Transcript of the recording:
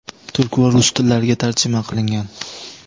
turk va rus tillariga tarjima qilingan.